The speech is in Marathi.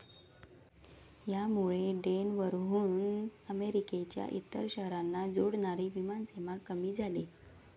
यामुळे डेनवरहून अमेरिकेच्या इतर शहरांना जोडणारी विमानसेवा कमी झाली.